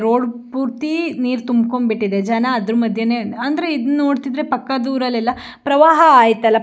road ಪೂರ್ತಿ ನೀರ್ ತುಂಬಿಕೊಂಡು ಬಿಟ್ಟಿದೆ ಜನ ಅದರ ಮದ್ಯದಲ್ಲಿ ಅಂದ್ರೆ ಇದನ್ನ ನೊಡ್ತಿದ್ರೆ ಪಕ್ಕದ ಊರಲ್ಲಿ ಎಲ್ಲ ಪ್ರವಾಹ ಅಯ್ತಲ್ಲ --